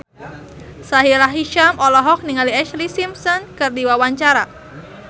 Sahila Hisyam olohok ningali Ashlee Simpson keur diwawancara